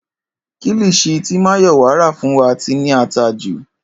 Kilichi tí Máyọ̀wá rà fún wa ti ní ata jù